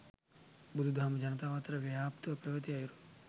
බුදුදහම ජනතාව අතර ව්‍යාප්තව පැවැති අයුරු